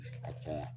Ka caya